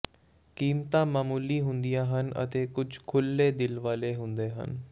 ਕੀਮਤਾਂ ਮਾਮੂਲੀ ਹੁੰਦੀਆਂ ਹਨ ਅਤੇ ਕੁਝ ਖੁੱਲ੍ਹੇ ਦਿਲ ਵਾਲੇ ਹੁੰਦੇ ਹਨ